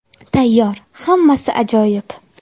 Tayyor, hammasi ajoyib.